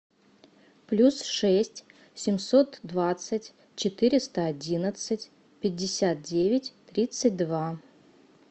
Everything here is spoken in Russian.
плюс шесть семьсот двадцать четыреста одиннадцать пятьдесят девять тридцать два